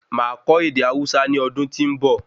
Máa kọ ède Hausa ní ọdún tí nbọ